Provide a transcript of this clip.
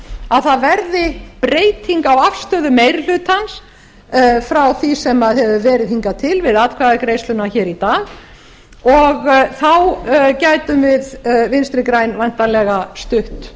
að það verði breyting á afstöðu meiri hlutans frá því sem hefur verið hingað til við atkvæðagreiðsluna hér í dag og þá getum við vinstri græn væntanlega stutt